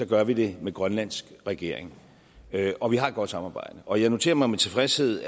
gør vi det med grønlands regering og vi har et godt samarbejde og jeg noterer mig med tilfredshed